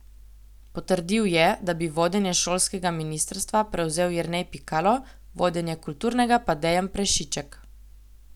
Potrdil je, da bi vodenje šolskega ministrstva prevzel Jernej Pikalo, vodenje kulturnega pa Dejan Prešiček.